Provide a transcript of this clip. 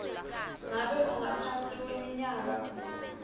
ngabe ungaphasi kweminyaka